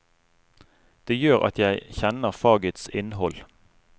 Det gjør at jeg kjenner fagets innhold.